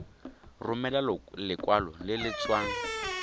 romela lekwalo le le tswang